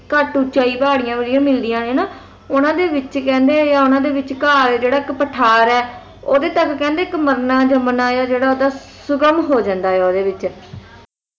ਘੱਟ ਉਚਾਈ ਵਾਲੀ ਪਹਾੜੀਆਂ ਮਿਲਦੀ ਹੈ ਨਾ ਉਨ੍ਹਾਂ ਦੇ ਵਿੱਚ ਕਹਿੰਦੇ ਉਨ੍ਹਾਂ ਦੇ ਵਿਚਕਾਰ ਜਿਹੜਾ ਇੱਕ ਪਠਾਰ ਹੈ ਓਹਦੇ ਵਿੱਚ ਕਹਿੰਦੇ ਮਰਨਾ ਜੰਮਣਾ ਜਿਹੜਾ ਓਹਦਾ ਸੁਗਮ ਹੋ ਜਾਂਦਾ ਹੈ ਓਹਦੇ ਵਿੱਚ